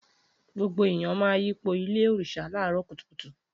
Gbogbo ẹyàn mà yípò Ìlé òrisá làró kútùkútù